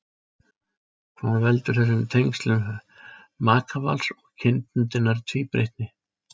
Hvað veldur þessum tengslum makavals og kynbundinnar tvíbreytni?